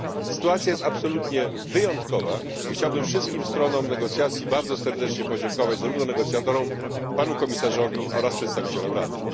Sytuacja jest absolutnie wyjątkowa i chciałbym wszystkim stronom negocjacji bardzo serdecznie podziękować zarówno negocjatorom, panu Komisarzowi, jak i przedstawicielom Rady.